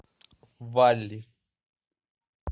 валли